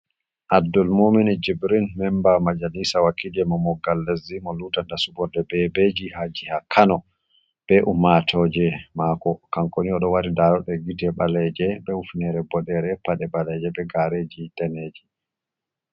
Abddul momini jibrin memba majalisa wakije mo moggal lesdi mo lutata suborde bebeji ha jiha kano be ummatoje mako kanko ni oɗo waɗi daroɗe gite ɓaleje be hufnere boɗere paɗe baleje be gareji daneeji.